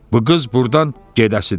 Bu qız burdan gedəsidir.